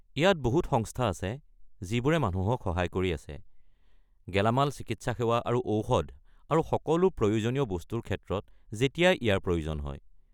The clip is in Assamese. ইয়াত বহু সংস্থা আছে যিবোৰে মানুহক সহায় কৰি আছে, গেলামাল, চিকিৎসা সেৱা আৰু ঔষধ আৰু সকলো প্ৰয়োজনীয় বস্তুৰ ক্ষেত্ৰত যেতিয়াই ইয়াৰ প্ৰয়োজন হয়।